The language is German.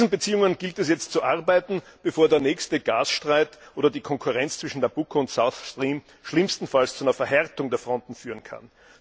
An diesen Beziehungen gilt es jetzt zu arbeiten, bevor der nächste Gasstreit oder die Konkurrenz zwischen Nabucco und Southstream schlimmstenfalls zu einer Verhärtung der Fronten führen kann.